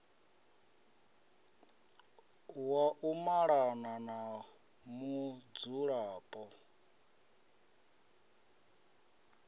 wa u malana na mudzulapo